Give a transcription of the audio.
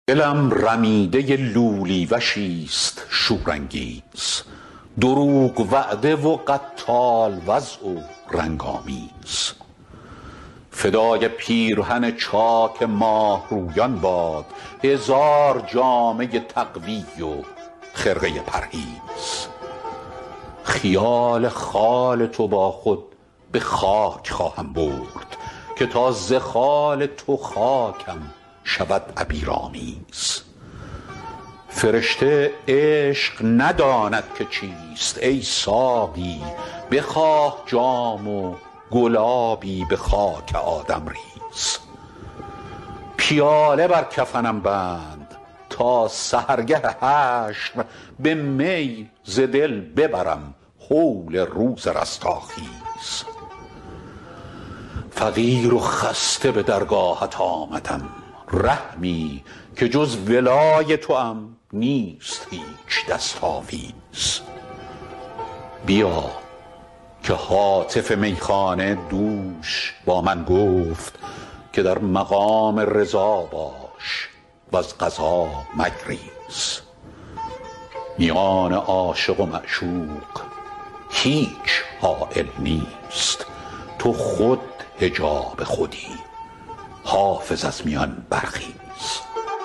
دلم رمیده لولی وشیست شورانگیز دروغ وعده و قتال وضع و رنگ آمیز فدای پیرهن چاک ماهرویان باد هزار جامه تقوی و خرقه پرهیز خیال خال تو با خود به خاک خواهم برد که تا ز خال تو خاکم شود عبیرآمیز فرشته عشق نداند که چیست ای ساقی بخواه جام و گلابی به خاک آدم ریز پیاله بر کفنم بند تا سحرگه حشر به می ز دل ببرم هول روز رستاخیز فقیر و خسته به درگاهت آمدم رحمی که جز ولای توام نیست هیچ دست آویز بیا که هاتف میخانه دوش با من گفت که در مقام رضا باش و از قضا مگریز میان عاشق و معشوق هیچ حایل نیست تو خود حجاب خودی حافظ از میان برخیز